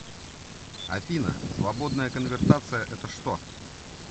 афина свободная конвертация это что